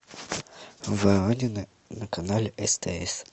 воронины на канале стс